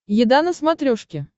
еда на смотрешке